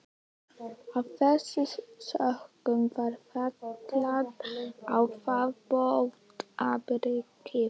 Af þessum sökum var felld á þá bótaábyrgð.